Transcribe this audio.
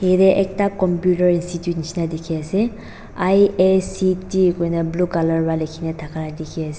ite ekta computer institute nishina dikhi ase iact huina blue colour wa likhina dikhi ase.